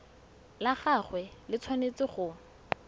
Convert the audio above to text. la gagwe le tshwanetse go